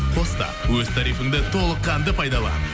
қос та өз тарифінді толыққанды пайдалан